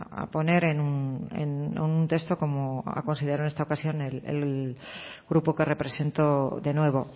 a poner en un texto como ha considerado en esta ocasión el grupo que represento de nuevo